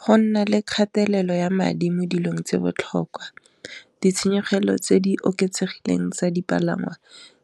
Go nna le kgatelelo ya madi mo dilong tse botlhokwa ditshenyegelo tse di oketsegileng tsa dipalangwa